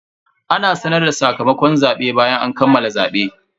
Ana sanar da sakamakon zabe bayan an kammala zabe.